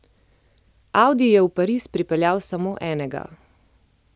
Audi je v Pariz pripeljal samo enega.